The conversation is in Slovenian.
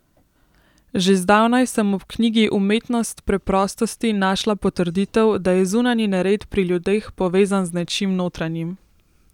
Že zdavnaj sem ob knjigi Umetnost preprostosti našla potrditev, da je zunanji nered pri ljudeh povezan z nečim notranjim.